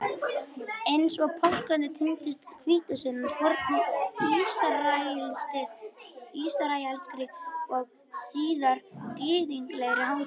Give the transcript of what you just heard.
Eins og páskarnir tengist hvítasunnan fornri ísraelskri og síðar gyðinglegri hátíð.